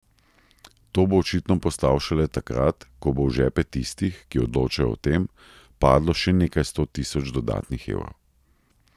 To bo očitno postal šele takrat, ko bo v žepe tistih, ki odločajo o tem, padlo še nekaj sto tisoč dodatnih evrov...